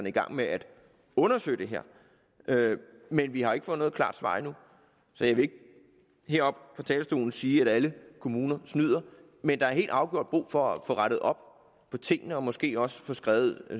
i gang med at undersøge det her men vi har ikke fået noget klart svar endnu så jeg vil ikke her oppe fra talerstolen sige at alle kommuner snyder men der er helt afgjort brug for at få rettet op på tingene og måske også få skrevet